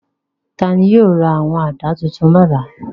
Ta ni yóò ra àwọn àdá tuntun lọ́la?